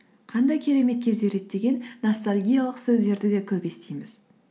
қандай керемет кездер еді деген ностальгиялық сөздерді де көп естиміз